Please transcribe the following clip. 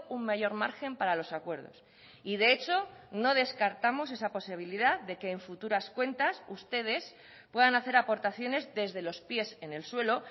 un mayor margen para los acuerdos y de hecho no descartamos esa posibilidad de que en futuras cuentas ustedes puedan hacer aportaciones desde los píes en el suelo